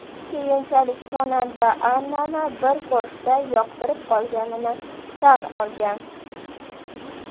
Keyinchalik xonanda Annani bir ko‘rishda yoqtirib qolganini tan olgan.